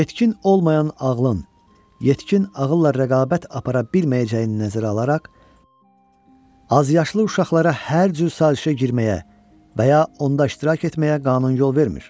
Yetkin olmayan ağlın yetkin ağılla rəqabət apara bilməyəcəyini nəzərə alaraq, azyaşlı uşaqlara hər cür sazişə girməyə və ya onda iştirak etməyə qanun yol vermir.